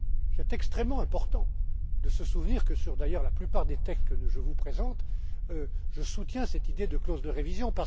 C'est extrêmement important de se souvenir, d'ailleurs, que, pour la plupart des textes que je vous présente, je soutiens cette idée de clause de révision.